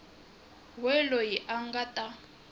we loyi a nga ta